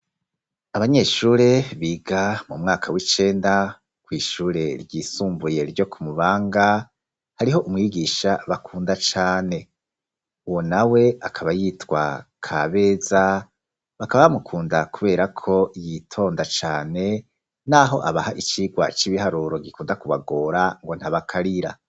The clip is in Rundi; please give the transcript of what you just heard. Abanyeshure, biga mu mwaka w'icenda, kw'ishure ryisumbuye ryo ku Mubanga, hariho umwigisha bakunda cane; uwo nawe akaba yitwa Kabeza, bakaba bamukunda kubera ko yitonda cane, n'aho abaha icigwa c'ibiharuro gikunda kubagora, ngo ntabakarira.